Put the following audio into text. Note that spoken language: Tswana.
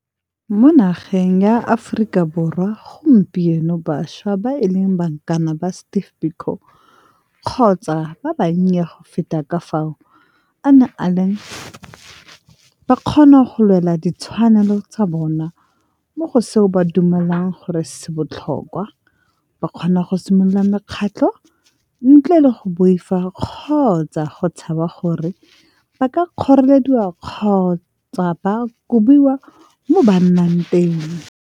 Mo nageng ya Aforika Borwa gompieno bašwa ba e leng bankane ba Steve Biko kgotsa ba bannye go feta ka fao a neng a le ba kgona go lwela ditshwanelo tsa bona mo go seo ba dumelang gore se botlhokwa, ba kgona go simolola mekgatlho ntle le go boifa kgotsa go tshaba gore ba ka kgorelediwa kgotsa ba kobiwa mo ba nnang teng.